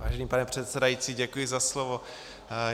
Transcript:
Vážený pane předsedající, děkuji za slovo.